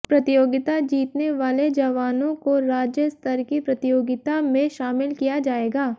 प्रतियोगिता जीतने वाले जवानों को राज्य स्तर की प्रतियोगिता में शामिल किया जायेगा